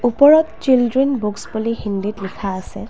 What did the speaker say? ওপৰত children books বুলি হিন্দীত লিখা আছে।